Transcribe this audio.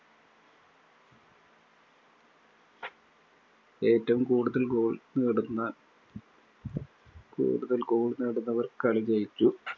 ഏറ്റവും കൂടുതല്‍ goal നേടുന്ന കൂടുതല്‍ goal നേടുന്നവര്‍ കളി ജയിച്ചു.